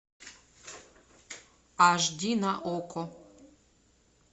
аш ди на окко